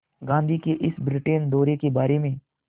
गांधी के इस ब्रिटेन दौरे के बारे में